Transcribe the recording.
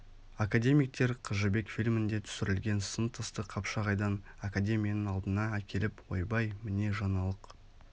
академиктер қыз жібек фильмінде түсірілген сын тасты қапшағайдан академияның алдына әкеліп ойбай міне жаңалық